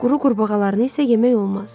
Quru qurbağalarını isə yemək olmaz.